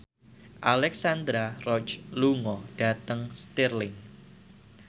Alexandra Roach lunga dhateng Stirling